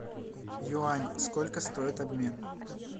юань сколько стоит обмен